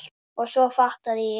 En svo fattaði ég.